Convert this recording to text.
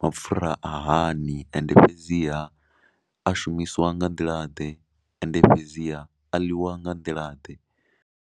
mapfhura a hani, ende fhedziha a shumisiwa nga nḓilaḓe ende fhedziha a ḽiwa nga nḓilaḓe.